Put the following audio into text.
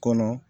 Kɔnɔ